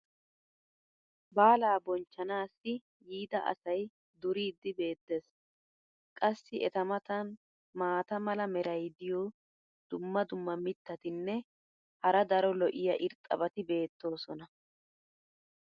baalaa bonchchanaassi yiidda asay duriidi beetees. qassi eta matan maata mala meray diyo dumma dumma mitatinne hara daro lo'iya irxxabati beetoosona.